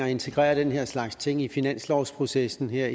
at integrere den her slags ting i finanslovsprocessen her